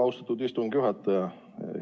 Austatud istungi juhataja!